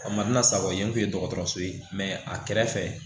A mansaw ye n kun ye dɔgɔtɔrɔso ye a kɛrɛ fɛ